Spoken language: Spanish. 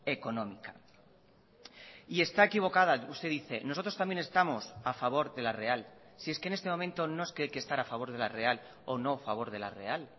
económica y está equivocada usted dice nosotros también estamos a favor de la real si es que en este momento no es que hay que estar a favor de la real o no a favor de la real